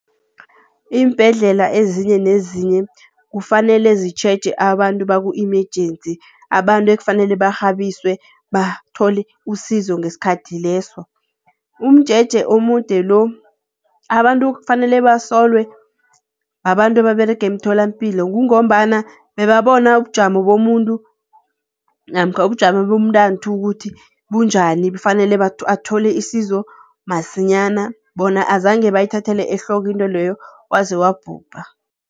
Iimbhedlela ezinye nezinye kufanele zitjheje abantu baku-emergency, abantu ekufanele barhabiswe bathole usizo ngesikhathi leso. Umjeje omude lo abantu kufanele basolwe babantu ababerega emitholampilo, kungombana bebabona ubujamo bomuntu namkha ubujamo bomntanthu ukuthi bunjani kufanele athole isizo masinyana, bona azange bayithathele ehloko intweleyo waze wabhubha.